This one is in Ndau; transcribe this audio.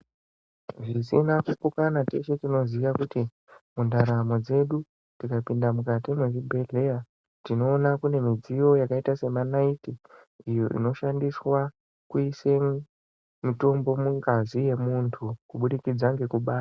Zvisina kupokana teshe tinoziya kuti mundaramo dzedu tikapinda mukati mwezvibhehleya tinoona kune midziyo yakaita semanaiti iyo inoshandiswa kuise mutombo mungazi yemuntu kubudikidza ngekubaya.